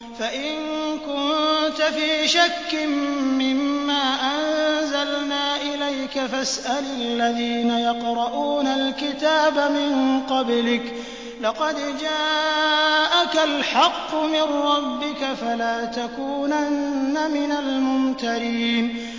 فَإِن كُنتَ فِي شَكٍّ مِّمَّا أَنزَلْنَا إِلَيْكَ فَاسْأَلِ الَّذِينَ يَقْرَءُونَ الْكِتَابَ مِن قَبْلِكَ ۚ لَقَدْ جَاءَكَ الْحَقُّ مِن رَّبِّكَ فَلَا تَكُونَنَّ مِنَ الْمُمْتَرِينَ